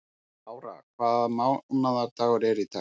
Lára, hvaða mánaðardagur er í dag?